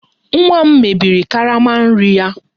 Nwa m mebiri karama nri ya